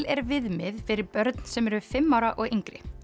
er viðmið fyrir börn sem eru fimm ára og yngri